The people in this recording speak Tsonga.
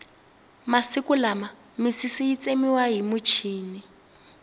masiku lama misisi yi tsemiwa hi muchini